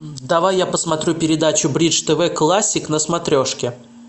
давай я посмотрю передачу бридж тв классик на смотрешке